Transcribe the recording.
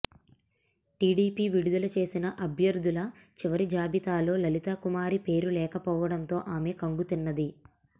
TDP విడుదల చేసిన అభ్యర్థుల చివరి జాబితాలో లలితాకుమారి పేరు లేకపోవడంతో ఆమె ఖంగుతిన్నది